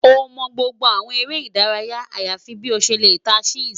O mọ gbogbo awọn ere idaraya ayafi bi o ṣe le ta chess